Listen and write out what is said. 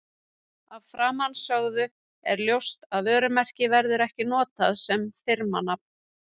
Af framansögðu er ljóst að vörumerki verður ekki notað sem firmanafn.